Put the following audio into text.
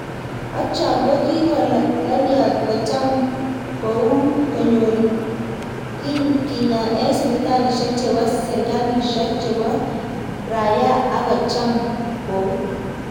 Ak choo kigolalyat kocham kocham kout konyor kinyaa ik sipitalishek cheboo sikalishek chebo rayaa ak kocham kout.